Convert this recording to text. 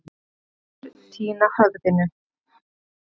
Fyrr týna höfðinu.